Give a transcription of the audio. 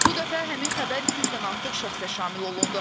Bu dəfə həmin xəbər 200-dən artıq şəxsə şamil olundu.